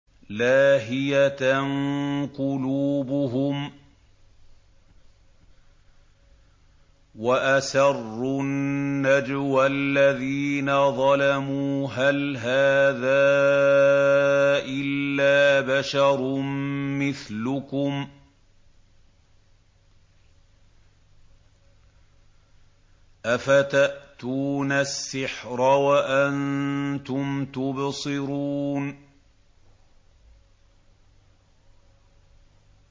لَاهِيَةً قُلُوبُهُمْ ۗ وَأَسَرُّوا النَّجْوَى الَّذِينَ ظَلَمُوا هَلْ هَٰذَا إِلَّا بَشَرٌ مِّثْلُكُمْ ۖ أَفَتَأْتُونَ السِّحْرَ وَأَنتُمْ تُبْصِرُونَ